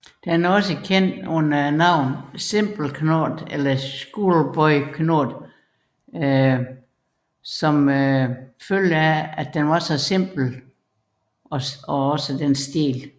Den er også kendt under navnet simple knot eller schoolboy knot som følge af dens simpelhed og stil